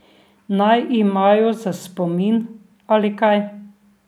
Naj imajo za spomin ali kaj.